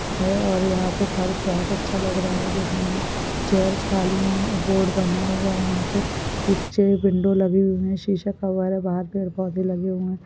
है और यहाँ पर फर्श बहुत अच्छा लग रहा है देखने में चेयर्स खाली है बोर्ड बना हुआ है यहाँ पे पीछे एक विंडो बनी हुयी है पौधे लगे हुए है।